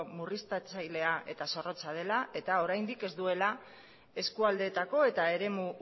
murriztatzailea eta zorrotza dela eta oraindik ez duela eskualdeetako eta eremu